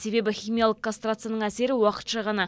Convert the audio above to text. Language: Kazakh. себебі химиялық кастрацияның әсері уақытша ғана